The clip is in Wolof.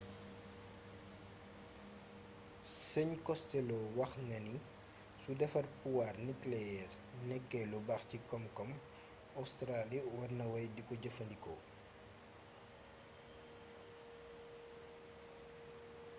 sëñ costelloo wax na ni su defar puwaar nikeleyeer nekkee lu baax ci koom-koom bi ostaraali war na wey diko jëfandikoo